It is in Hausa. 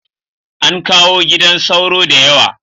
An kawo gidan sauro da yawa